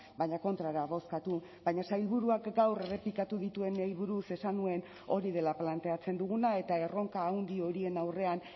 baina kontrara bozkatu baina sailburuak gaur errepikatu dituenei buruz esan nuen hori dela planteatzen duguna eta erronka handi horien aurrean